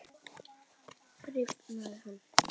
Rifnaði hann?